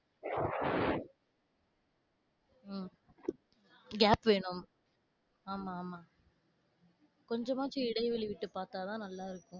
உம் gap வேணும். ஆமா, ஆமா. கொஞ்சமாச்சும் இடைவேளை விட்டு பார்த்தாதான், நல்லா இருக்கும்.